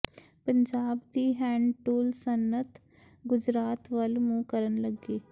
ਪੰਜਾਬ ਦੀ hand tool ਸਨਅਤ ਗੁਜਰਾਤ ਵੱਲ ਮੂੰਹ ਕਰਨ ਲੱਗੀ